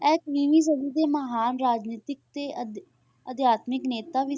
ਇਹ ਵੀਹਵੀਂ ਸਦੀ ਦੇ ਮਹਾਨ ਰਾਜਨੀਤਿਕ ਅਤੇ ਅਧਿ~ ਅਧਿਆਤਮਿਕ ਨੇਤਾ ਵੀ,